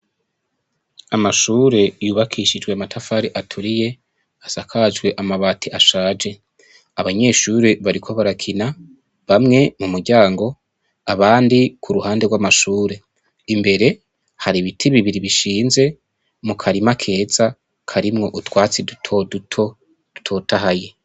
Amashure yubakishijwe amatafari aturiye, asakajwe amabati ashaje. Abanyeshure bariko barakina, bamwe mumuryango, abandi ku ruhande rw'amashure. Imbere, hari ibiti bibiri bishinze, mukarima keza karimwo utwatsi dutoduto dutotahaye.